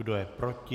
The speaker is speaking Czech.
Kdo je proti?